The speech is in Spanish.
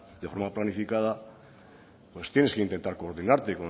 de forma planificada pues tienes que intentar coordinarte